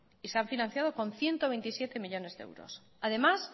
y se han financiado con ciento veintisiete millónes de euros además